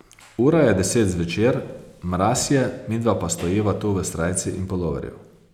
Ura je deset zvečer, mraz je, midva pa stojiva tu v srajci in puloverju.